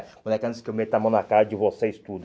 Os moleque antes que eu meta a mão na cara de vocês tudo.